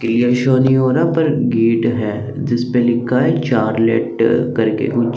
clear show नहीं हो रहा है पर गेट है जिस पे लिखा है चार लेटर करके कुछ--